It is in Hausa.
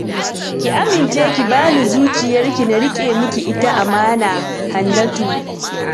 Ki amince ki ba ni zuciyarki na riƙe miki ita amana, Hannatu